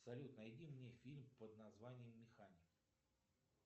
салют найди мне фильм под названием механик